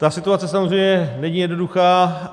Ta situace samozřejmě není jednoduchá.